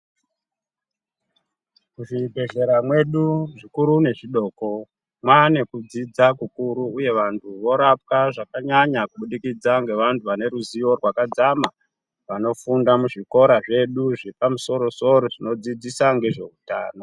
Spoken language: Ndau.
Muzvibhedhlera mwedu zvikuru nezvidoko mwane kudzidza kukuru uye vanthu vorapwa zvakanyanya kubudikidza ngevanthu vane ruziwo rwakadzama vanofunda muzvikora zvedu zvepamusorosoro zvinodzidzisa ngezveutano.